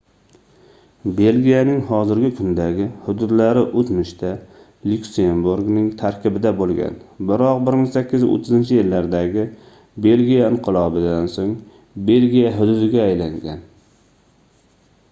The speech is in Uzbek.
belgiyaning hozirgi kundagi hududlari oʻtmishda lyuksemburgning tarkibida boʻlgan biroq 1830-yillardagi belgiya inqilobidan soʻng belgiya hududiga aylangan